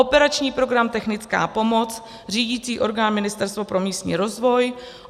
Operační program Technická pomoc, řídicí orgán Ministerstvo pro místní rozvoj;